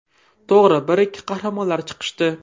To‘g‘ri, bir-ikki qahramonlar chiqishdi.